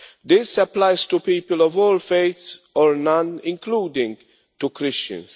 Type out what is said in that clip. This applies to people of all faiths, or none, including to Christians.